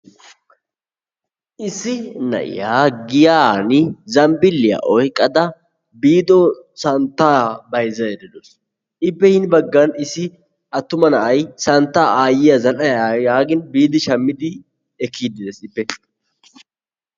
Issi na'iyaa giyani zambbiliyaa oyqqada efiido santta bayzzayda deawusu. Ippe hini baggaan aayiya santta zal'aa yaagin biidi shammidi ekkiyidi de'ees ippe.